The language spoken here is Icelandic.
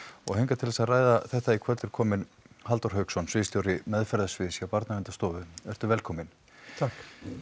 og hingað til þess að ræða þetta í kvöld er kominn Halldór Hauksson sviðsstjóri meðferðarsviðs hjá Barnaverndarstofu vertu velkominn takk